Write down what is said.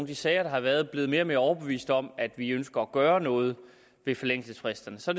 de sager der har været er blevet mere og mere overbevist om at vi ønsker at gøre noget ved forældelsesfristerne så